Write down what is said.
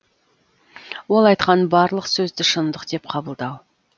ол айтқан барлық сөзді шындық деп қабылдау